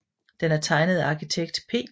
Den er tegnet af arkitekt P